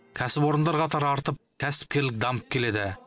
кәсіпорындар қатары артып кәсіпкерлік дамып келеді